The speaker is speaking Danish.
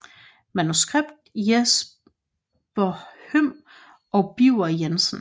Manuskript Jesper Høm og Birger Jensen